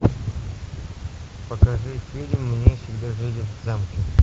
покажи фильм мы всегда жили в замке